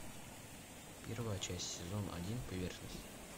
первая часть сезон один поверхность